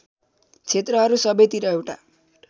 क्षेत्रहरू सबैतिर एउटा